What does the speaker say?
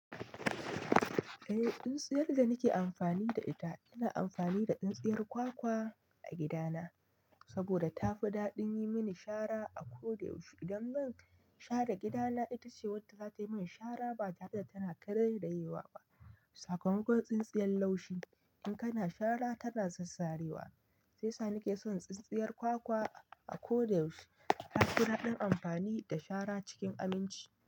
Eh, tsintsiyar da nake amfani da ita ina amfani da tsintsiyar kwakwa a gidana saboda tafi daɗin yi mini shara a ko da yaushe. Idan zan share gidana, ita ce wadda zata yi min shara ba tare da tana karairayewa ba. Sakamakon tsintsiyar laushi, in kana shara tana sassarewa. Shiyasa nake son tsintsiyar kwakwa a ko da yaushe. Ta fi daɗin amfani da shara cikin aminci.